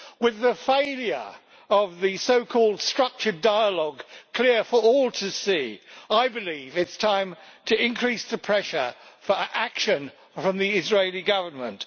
With the failure of the so called structured dialogue clear for all to see, I believe it is time to increase the pressure for action from the Israeli Government.